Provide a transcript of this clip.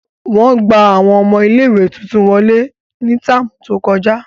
Wọn gba awọn ọmọ ìlé-ìwé tuntun wọle ni táámu to kọja.